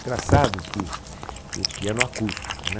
Engraçado que... E piano acústico, né?